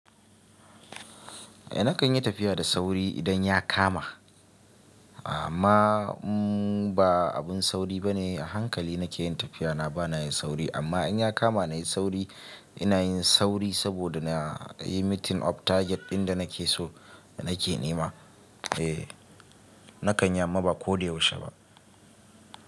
Eh nakan yi tafiya da sauri idan ya kama. Amma ba abun sauri bane. A hankali nake yin tafiya, na bana yin sauri. Amma in ya kama na yi sauri, ina yin sauri saboda na yi meeting of target ɗin da nake so nake nema. Eh, na kan yi amma ba ko da yaushe ba.